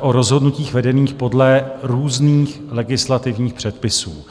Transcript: o rozhodnutích vedených podle různých legislativních předpisů.